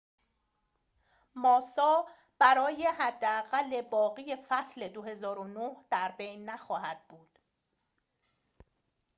ماسا برای حداقل باقی فصل ۲۰۰۹ در بین نخواهد بود